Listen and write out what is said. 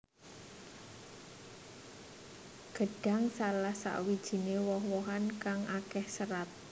Gedhang salah sawijiné woh wohan kang akéh sêrat